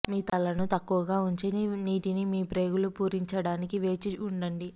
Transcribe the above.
మీ తలను తక్కువగా ఉంచి నీటిని మీ ప్రేగులు పూరించడానికి వేచి ఉండండి